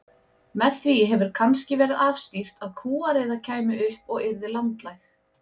Með því hefur kannski verið afstýrt að kúariða kæmi upp og yrði landlæg.